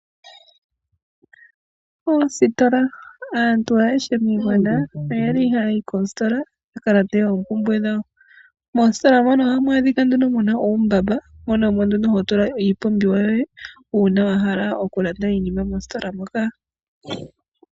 Oositola , aantu ayehe moshigwana oyeli hayahi koositola yakalande oo mpumbwe dhawo. Moositola mono ohamu adhikwa nduno muna uumbamba mono hovulu oku tula iipumbiwa yoye uuna wahala okulanda iinima moositola moka.